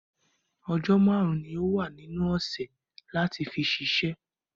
Ọjọ́ márùn ni o wa nínú ọsẹ̀ láti fi ṣiṣẹ́.